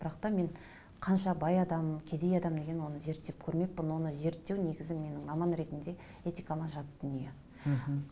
бірақ та мен қанша бай адам кедей адам деген оны зерттеп көрмеппін оны зерттеу негізі менің маман ретінде этикама жат дүние мхм